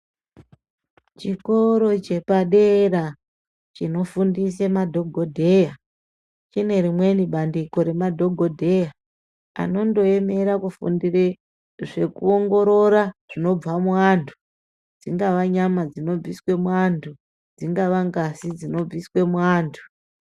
Chikoro chepadera chinofundise madhogodheya chinerimweni bandiko remadhogodheya anondoemera kufundire zvekuongorora zvinobva muantu dzingava nyama dzinobviswe muantu dzinga ngazi dzinobviswe muantu.